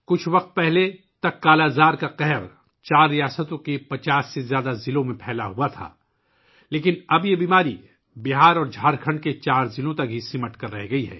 حال ہی میں، کالا آزار کی وباء 4 ریاستوں کے 50 سے زیادہ اضلاع میں پھیل چکی تھی لیکن اب یہ بیماری بہار اور جھارکھنڈ کے صرف 4 اضلاع تک سمٹ کر رہ گئی ہے